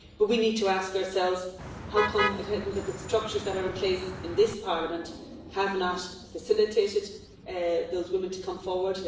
But we need to ask ourselves how the structures that are in place in this Parliament have not facilitated those women to come forward.